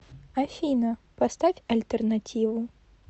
афина поставь альтернативу